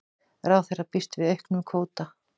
Ráðherra býst við auknum kvóta